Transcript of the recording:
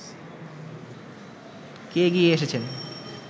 কে এগিয়ে এসেছেন